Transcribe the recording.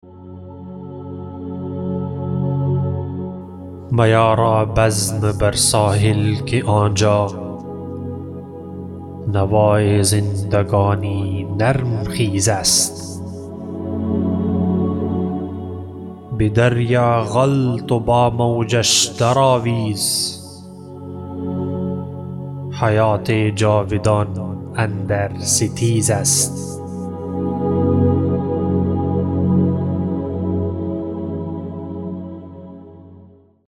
میارا بزم بر ساحل که آنجا نوای زندگانی نرم خیز است به دریا غلت و با موجش در آویز حیات جاودان اندر ستیز است